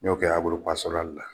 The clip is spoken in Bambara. N'o kɛla bolo la.